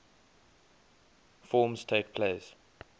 forms takes place